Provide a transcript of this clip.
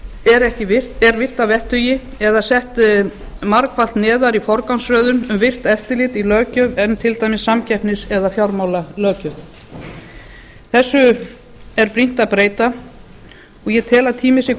er virt að vettugi eða sett margfalt neðar í forgangsröðun um virkt eftirlit í löggjöf en til dæmis samkeppnis eða fjármálalöggjöfin þessu er brýnt að breyta og ég tel að tími sé